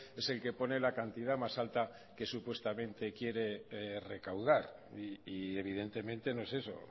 es el que pone la cantidad más alta que supuestamente quiere recaudar y evidentemente no es eso